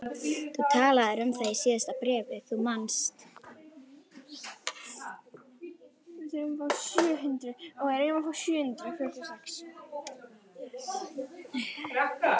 Þú talaðir um það í síðasta bréfi, þú manst.